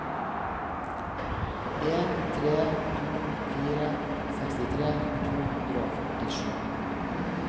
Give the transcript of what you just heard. en tre to fire sekstitre to hundre og førtisju